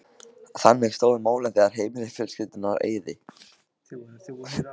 Þannig stóðu málin þegar heimili fjölskyldunnar eyði